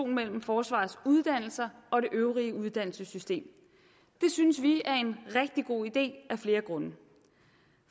mellem forsvarets uddannelser og det øvrige uddannelsessystem det synes vi er en rigtig god idé af flere grunde